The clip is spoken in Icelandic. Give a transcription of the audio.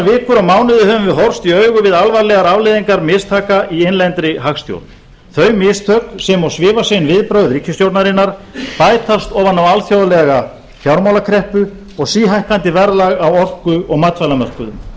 vikur og mánuði höfum við horfst í augu við alvarlegar afleiðingar mistaka í innlendri hagstjórn þau mistök sem og svifasein viðbrögð ríkisstjórnarinnar bætast ofan á alþjóðlega fjármálakreppu og síhækkandi verðlag á orku og matvælamörkuðum